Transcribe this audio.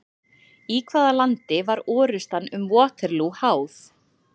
Í hvaða landi var orrustan um Waterloo háð?